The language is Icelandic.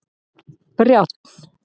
Brjánn